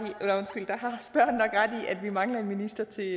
i at vi mangler en minister til